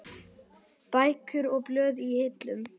Bækur og blöð í hillum.